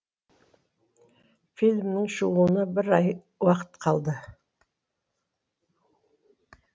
фильмнің шығуына бір ай уақыт қалды